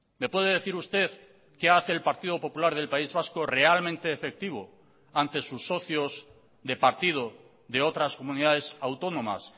me puede decir usted qué hace el partido popular del país vasco realmente efectivo ante sus socios de partido de otras comunidades autónomas